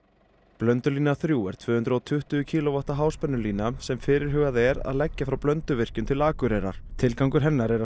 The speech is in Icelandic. blöndulína þriggja er tvö hundruð og tuttugu kílóvatta háspennulína sem fyrirhugað er að leggja frá Blönduvirkjun til Akureyrar tilgangur hennar er að